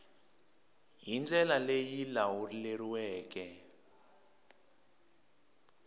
hi ndlela leyi yi lawuleriweke